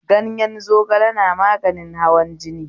Ganyen zogala na maganin hawan jini